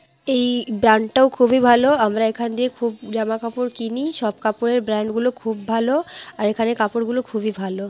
এই ব্রান্ডটাও খুবই ভাল আমরা এখান দিয়ে খুব জামা কাপড় কিনি সব কাপড়ের ব্র্যান্ডগুলো খুব ভাল আর এখানের কাপড়গুলো খুবই ভাল।